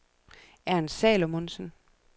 Ernst Salomonsen